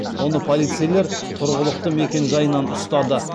оны полицейлер тұрғылықты мекенжайынан ұстады